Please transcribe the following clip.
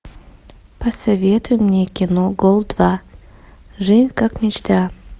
посоветуй мне кино гол два жизнь как мечта